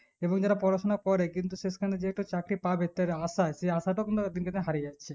এবার যারা পড়াশোনা করে কিন্তু শেষকালে যে একটা চাকরি পাবে তার আশা সেই আশাটা উদিনকে দিন হারিয়ে যাচ্ছে